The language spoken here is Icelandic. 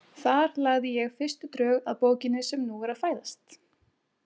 Þar lagði ég fyrstu drög að bókinni sem nú er að fæðast.